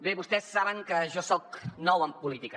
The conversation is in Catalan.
bé vostès saben que jo soc nou en política